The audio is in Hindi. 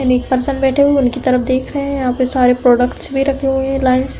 एक पर्सन बैठे हुए हैं। उनकी तरफ देख रहे हैं। यहाँ पे सारे प्रोडक्ट्स भी रखे हुए हैं लाइन से।